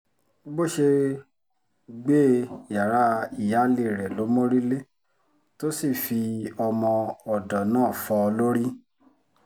bó ṣe gbé e yàrá ìyáálé rẹ̀ ló mórí lé tó sì fi ọmọ-ọ̀dọ̀ náà fọ́ ọ lórí